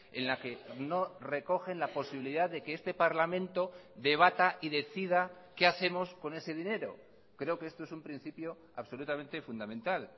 en la que no recogen la posibilidad de que este parlamento debata y decida qué hacemos con ese dinero creo que esto es un principio absolutamente fundamental